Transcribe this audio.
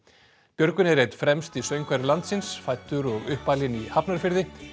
Björgvin er einn fremsti söngvari landsins fæddur og uppalinn í Hafnarfirði